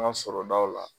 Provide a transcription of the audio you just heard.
An ka sɔrɔdaw la